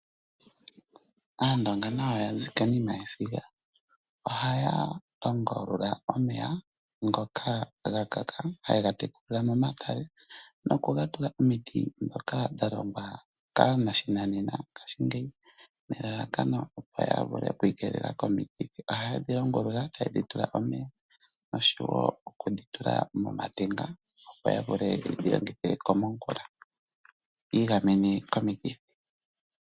Aandonga nayo ya zi konima yesiga. Ohaya longulula omeya ngoka ga kaka haye ga momatale nokuga tula omiti ndhoka dha longwa kaananena ngaashingeyi nelalakano opo ya vule oku ikeelela komikithi. Ohaye dhi longulula taye dhi tula omeya nosho wo okudhi tula mootenga opo ya vule ye dhi longithe komongula yi igamene komikithi.